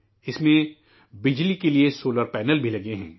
اس میں، بجلی کے لیے شمسی پینل بھی لگے ہیں